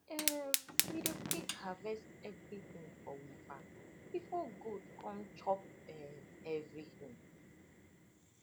um we dey quick harvest everything for we farm before goat come chop um everything